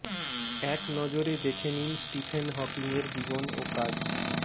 এক নজরে দেখে নিন স্টিফেন হকিংয়ের জীবন ও কাজ